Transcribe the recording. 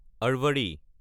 আৰভাৰী